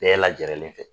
Bɛɛ lajɛlen fɛ